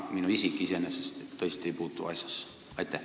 Minu isik iseenesest tõesti ei puutu asjasse.